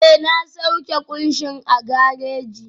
Ee, na sauke kunshin a gareji